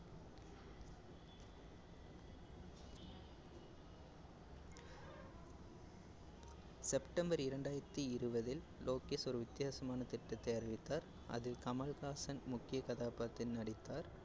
September இரண்டாயிரத்தி இருவதில் லோகேஷ் ஒரு வித்தியாசமான திட்டத்தை அறிவித்தார். அது கமல்ஹாசன் முக்கிய கதாபாத்தில் நடித்தார்.